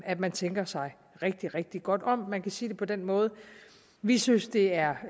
at man tænker sig rigtig rigtig godt om barselsreglerne man kan sige det på den måde at vi synes det er